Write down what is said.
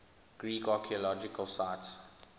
greek archaeological sites